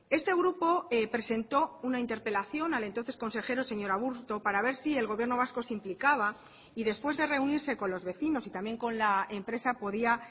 este grupo presentó una interpelación al entonces consejero señor aburto para ver si el gobierno vasco se implicaba y después de reunirse con los vecinos y también con la empresa podía